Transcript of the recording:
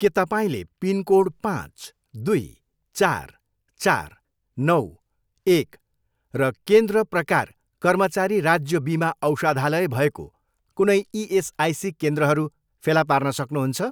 के तपाईँँले पिनकोड पाँच, दुई, चार, चार, नौ, एक र केन्द्र प्रकार कर्मचारी राज्य बिमा औषधालय भएको कुनै इएसआइसी केन्द्रहरू फेला पार्न सक्नुहुन्छ?